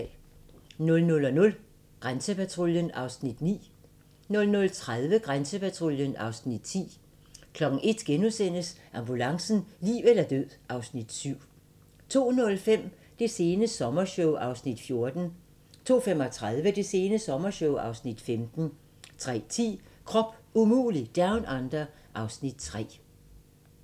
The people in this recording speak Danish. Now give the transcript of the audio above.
00:00: Grænsepatruljen (Afs. 9) 00:30: Grænsepatruljen (Afs. 10) 01:00: Ambulancen - liv eller død (Afs. 7)* 02:05: Det sene sommershow (Afs. 14) 02:35: Det sene sommershow (Afs. 15) 03:10: Krop umulig Down Under (Afs. 3)